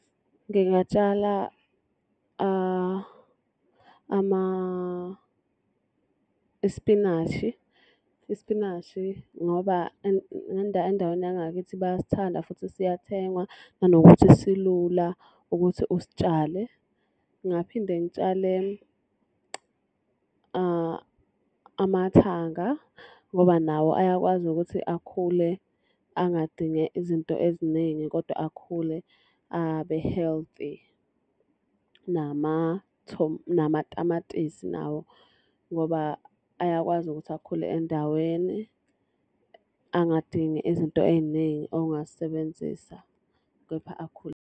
Ngingatshala isipinashi. Isipinashi ngoba endaweni yangakithi bayasithanda futhi siyathengwa nanokuthi silula ukuthi usitshale. Ngingaphinde ngitshale amathanga ngoba nawo ayakwazi ukuthi akhule angadinge izinto eziningi kodwa akhule abe-healthy. Namatamatisi nawo ngoba ayakwazi ukuthi akhule endaweni angadingi izinto ey'ningi ongazisebenzisa kepha akhule.